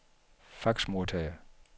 faxmodtager